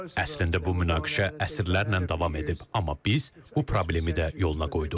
Əslində bu münaqişə əsrlərlə davam edib, amma biz bu problemi də yoluna qoyduq.